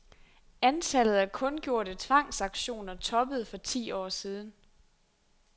Antallet af kundgjorte tvangsauktioner toppede for ti år siden .